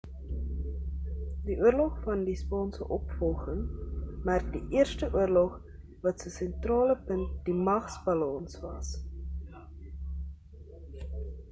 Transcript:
die oorlog van die spaanse opvolging merk die eerste oorlog wat se sentrale punt die magsbalans was